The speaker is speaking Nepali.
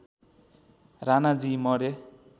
राणाजी मरे